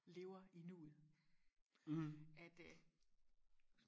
lever i nuet at øh